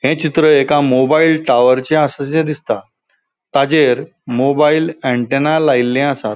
ये चित्र एका मोबाईल टावरचे आसाशे दिसता ताचेर मोबाईल ऍण्टेना लायल्ले आसात.